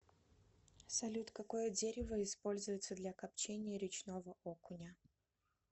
салют какое дерево используется для копчения речного окуня